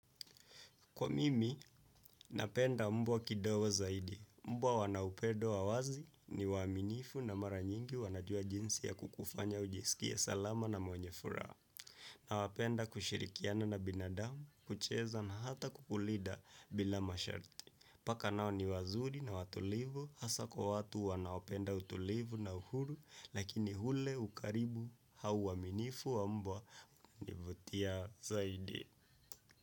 Kwa mimi, napenda mbwa kidogo zaidi. Mbwa wana upendo wa awazi ni waminifu na mara nyingi wanajua jinsi ya kukufanya ujisikie salama na mwenye furaha. Na wanapenda kushirikiana na binadamu, kucheza na hata kukulinda bila masharti. Paka nao ni wazuri na watulivu, hasaa kwa watu wanaopenda utulivu na uhuru, lakini ule ukaribu au waminifu wa mbwa hunivutia zaidi.